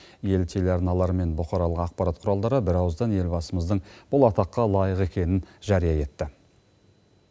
ел телеарналары мен бұқаралық ақпарат құралдары бірауыздан елбасымыздың бұл атаққа лайық екенін жария етті